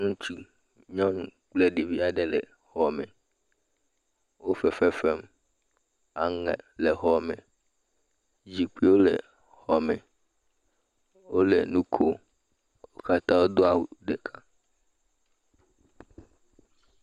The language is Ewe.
Ŋutsu, nyɔnu kple ɖevi aɖe le xɔ me, wo fefe fem, aŋe le xɔ me zikpuiwo le xɔ me, wole nu kom, wo katã wodo awu ɖeka.